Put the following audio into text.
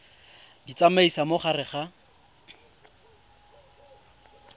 di tsamaisa mo gare ga